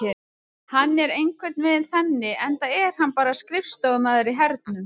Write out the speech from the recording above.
Hann er einhvern veginn þannig enda er hann bara skrifstofumaður í hernum.